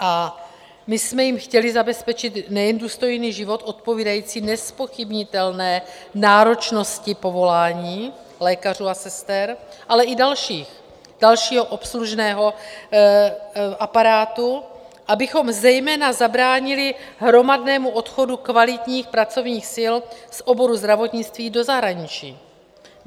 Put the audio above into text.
A my jsme jim chtěli zabezpečit nejen důstojný život odpovídající nezpochybnitelné náročnosti povolání lékařů a sester, ale i dalších, dalšího obslužného aparátu, abychom zejména zabránili hromadnému odchodu kvalitních pracovních sil z oboru zdravotnictví do zahraničí.